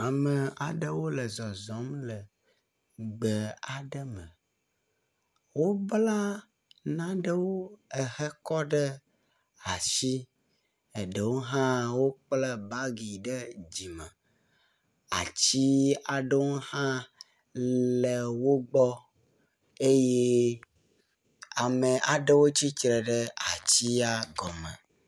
Ame aɖewo le zɔzɔm le gbe aɖe me. Wobla naɖewo hekɔ ɖe asi, eɖewo hã wokpla bagiwo ɖe dzime. Ati aɖewo hã le wo gbɔ eye ame aɖe tsitre ɖe atia gɔme.